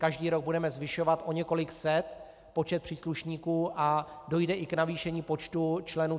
Každý rok budeme zvyšovat o několik set počet příslušníků a dojde i k navýšení počtu členů